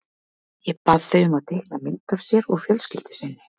Ég bað þau um að teikna mynd af sér og fjölskyldu sinni.